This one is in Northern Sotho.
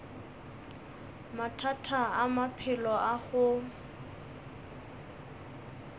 mathata a maphelo a go